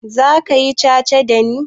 Zaka yi ca-ca dani?